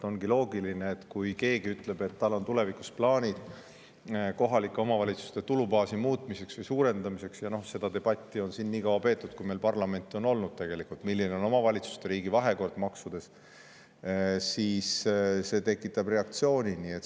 Ongi loogiline, et kui keegi ütleb, et tal on tulevikus plaanid kohalike omavalitsuste tulubaasi muutmiseks või suurendamiseks – ja seda debatti on tegelikult siin nii kaua peetud, kui meil parlament on olnud, et milline on omavalitsuste ja riigi vahekord maksudes –, siis see tekitab reaktsiooni.